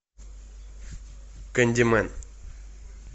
кэндимэн